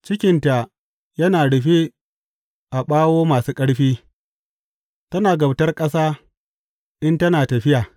Cikinta yana rufe a ɓawo masu ƙarfi, tana kabtar ƙasa in tana tafiya.